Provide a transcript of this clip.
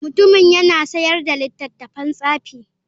Mutumin yana sayar da littattafan tsafi.